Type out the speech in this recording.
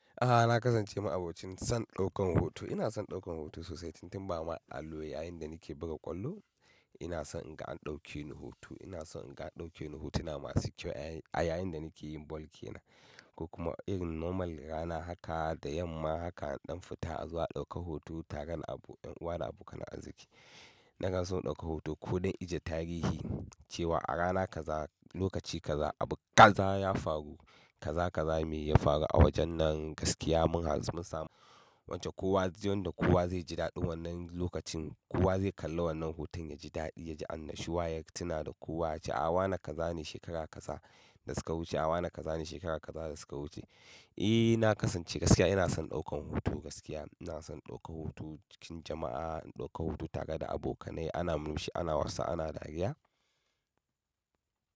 A'a na kasance ma'abocin son daukar hoto. Ina son daukar hoto sosai, tuntuɓa ma allo yayinda nake buga ƙwallo ina son in ga an ɗauke ni hoto. Ina son in ga an ɗauke ni hotuna masu kyau a yayinda nake yin bol ke na. Ko kuma irin normal rana haka da yamma haka an ɗan fita zuwa a ɗauka hoto tare da abokanan arziki. Na kan so in ɗaukar hoto kuɗin ajiye tarihi cewa a rana kaza, lokaci kaza abu kaza ya faru kaza kaza me ya faru a wajen nan gaskiya mun samu. Wance kowa yanda kowa zai ji daɗi wannan lokacin kowa zai kalla wannan hoton ya ji daɗi ya ji annashuwa ya yi tuna da kowa cewa a wa na kaza ne shekara kaza da suka wuce. A wa na kaza ne shekara kaza da suka wuce. Eh na kasance gaskiya ina son daukan hoto gaskiya ina son daukar hoto cikin jama'a, daukar hoto tare da abokanai ana murmushi ana wasa ana dariya.